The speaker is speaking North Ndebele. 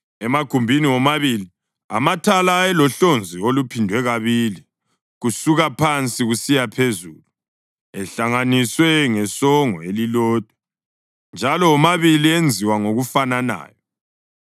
Emagumbini womabili amathala ayelohlonzi oluphindwe kabili kusuka phansi kusiya phezulu, ehlanganiswe ngesongo elilodwa njalo womabili enziwa ngokufananayo.